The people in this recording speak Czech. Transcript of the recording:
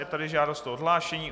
Je tady žádost o odhlášení.